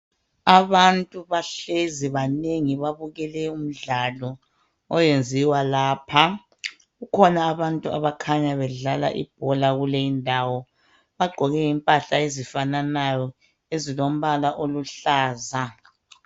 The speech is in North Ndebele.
Abantu bahlezi banengi babukele umdlalo oyenziwa lapha. Kukhona abantu okukhanya bedlala ibhola kule indawo. Bagqoke impahla ezifananayo ezilombala oluhlaza.